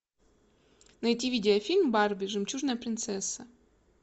найти видеофильм барби жемчужная принцесса